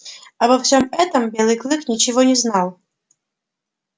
обо всём этом белый клык ничего не знал